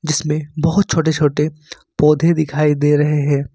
जिसमे बहुत छोटे-छोटे पौधे दिखाई दे रहे हैं।